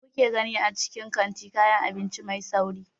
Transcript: Me kuke gani a cikin kantin kayan abinci mai sauri?